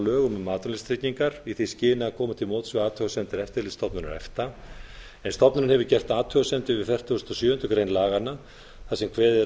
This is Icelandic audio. lögum um atvinnuleysistryggingar í því skyni að koma til móts við athugasemdir eftirlitsstofnunar efta en stofnunin hefur gert athugasemdir við fertugasta og sjöundu grein laganna þar sem kveðið er